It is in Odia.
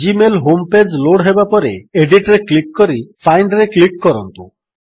ଜିମେଲ୍ ହୋମ୍ ପେଜ୍ ଲୋଡ୍ ହେବାପରେ ଏଡିଟ୍ରେ କ୍ଲିକ୍ କରି ଫାଇଣ୍ଡରେ କ୍ଲିକ୍ କରନ୍ତୁ